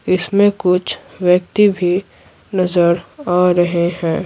इसमें कुछ व्यक्ति भी नजर आ रहे हैं।